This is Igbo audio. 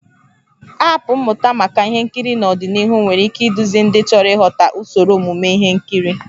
Aapụ mmụta maka ihe nkiri n'ọdịnihu nwere ike iduzi ndị chọrọ ịghọta usoro omume ihe nkiri